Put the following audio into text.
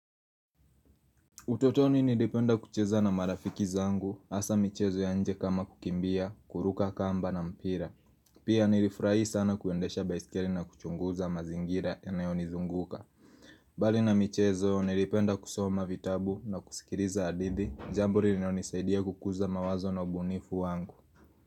Utotoni nilipenda kucheza na marafiki zangu, asa michezo ya nje kama kukimbia, kuruka kamba na mpira. Pia nilifurai sana kuendesha baiskeli na kuchunguza mazingira yanayoni zunguka. Bali na michezo, nilipenda kusoma vitabu na kusikiliza hadithi, ambazo zilinisaidia kukuza mawazo na ubunifu wangu.